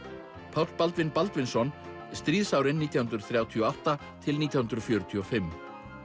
Páll Baldvin Baldvinsson stríðsárin nítján hundruð þrjátíu og átta til nítján hundruð fjörutíu og fimm